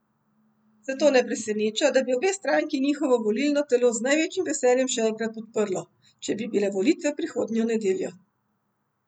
Zato ne preseneča, da bi obe stranki njihovo volilno telo z največjim veseljem še enkrat podprlo, če bi bile volitve prihodnjo nedeljo.